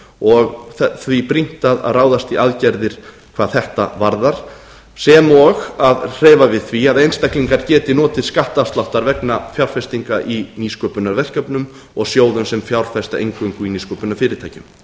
og því brýnt að ráðast í aðgerðir hvað þetta varðar sem og að hreyfa við því að einstaklinga geti notið skattafsláttar vegna fjárfestinga í nýsköpunarverkefnum og sjóðum sem fjárfesta eingöngu í nýsköpunarfyrirtækjum